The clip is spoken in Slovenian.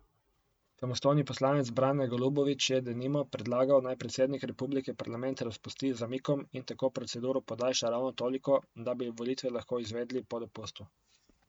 Samostojni poslanec Brane Golubovič je, denimo, predlagal, naj predsednik republike parlament razpusti z zamikom in tako proceduro podaljša ravno toliko, da bi volitve lahko izvedli po dopustu.